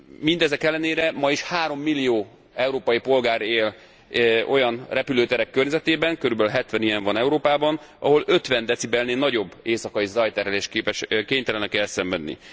Mindezek ellenére ma is 3 millió európai polgár él olyan repülőterek körzetében körülbelül 70 ilyen van Európában ahol 50 decibelnél nagyobb éjszakai zajterhelést kénytelenek elszenvedni.